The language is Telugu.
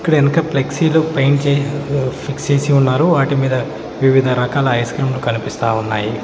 ఇక్కడ ఎనుక ఫ్లెక్సీ లు పెయింట్ ఫిక్స్ చేసి ఉన్నారు వాటి మీద వివిధ రకాల ఐస్ క్రీమ్ లు కనిపిస్తా ఉన్నాయి.